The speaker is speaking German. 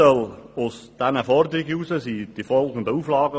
Aus dieser Forderung entstanden folgende Auflagen: